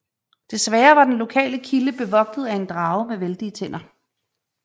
Desværre var den lokale kilde bevogtet af en drage med vældige tænder